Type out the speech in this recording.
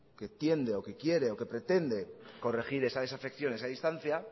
que entiende o que quiere o que pretende corregir esa desafección esa distancia